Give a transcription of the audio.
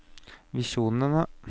visjonene